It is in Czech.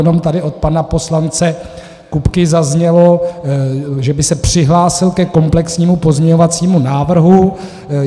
Jenom tady od pana poslance Kupky zaznělo, že by se přihlásil ke komplexnímu pozměňovacímu návrhu.